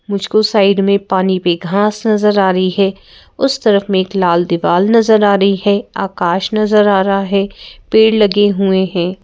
मुझको साइड में पानी पे घांस नजर आ रही है उस तरफ में एक लाल दीवार नजर आ रही है आकाश नजर आ रहा है पेड़ लगे हुए हैं।